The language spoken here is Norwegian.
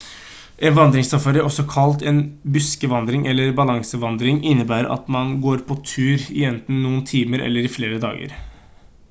en vandringssafari også kalt en «buskvandring» eller «balansevandring» innebærer at man går på tur i enten noen timer eller i flere dager